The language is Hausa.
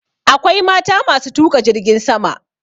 Akwai mata ma su tuƙa jirgin sama.